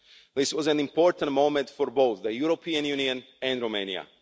This was an important moment for both the European Union and Romania.